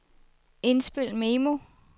indspil memo